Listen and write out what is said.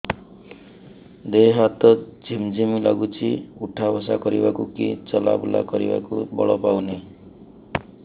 ଦେହେ ହାତ ଝିମ୍ ଝିମ୍ ଲାଗୁଚି ଉଠା ବସା କରିବାକୁ କି ଚଲା ବୁଲା କରିବାକୁ ବଳ ପାଉନି